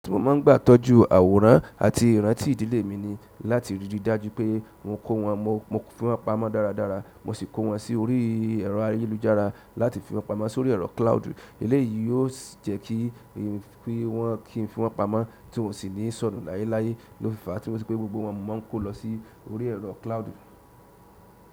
Mo máa ń gbà tọ́jú àwòrán àti ìrántí ìdílé mi ni láti ríri dájú pé wọn kọ́ wọn mọ́ fún pamọ́ dáradára. Mo sì kó wọn sí orí ẹ̀rọ ayélujára láti fi wọn pamọ́ sórí ẹ̀rọ cloud eléyi ó sì jẹ́ kí n fi wọ́n pamọ́ tí wọn sì ni sọnù layelaye lofi fa tí mo fi sepe gbogbo wọ́n ni mo nko lọ sí orí ẹ̀rọ cloud mi.